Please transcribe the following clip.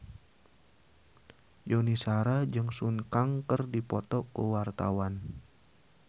Yuni Shara jeung Sun Kang keur dipoto ku wartawan